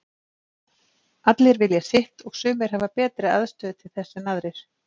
Allir vilja halda í sitt og sumir hafa betri aðstöðu til þess en aðrir.